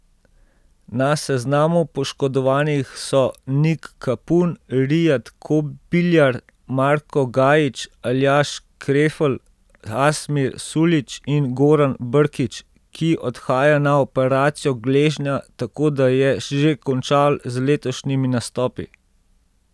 Na seznamu poškodovanih so Nik Kapun, Rijad Kobiljar, Marko Gajić, Aljaž Krefl, Asmir Suljić in Goran Brkić, ki odhaja na operacijo gležnja, tako da je že končal z letošnjimi nastopi.